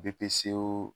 Bpco